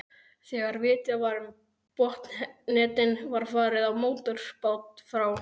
Þegar vitjað var um botnnetin var farið á mótorbát frá